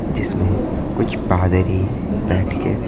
जिसमें कुछ पादरी बैठ के--